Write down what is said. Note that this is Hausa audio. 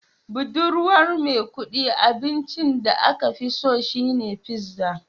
Budurwar Maikudi abincin da aka fi so shine pizza